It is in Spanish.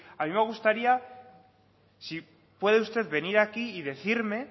a mí me gustaría si puede usted venir aquí y decirme